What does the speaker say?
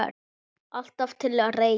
Alltaf til reiðu!